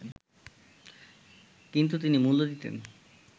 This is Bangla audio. কিন্তু তিনি মূল্য দিতেন